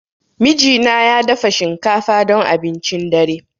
Mijina ya dafa shinkafa don abincin dare.